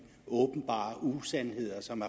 åbenbare usandheder som